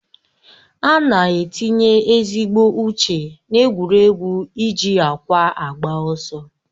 Ana etinye ezigbo uche na-egwuregwu iji ákwà agba ọsọ.